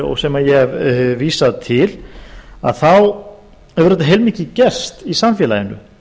og sem ég hef vísað til þá hefur auðvitað heilmikið gerst í samfélaginu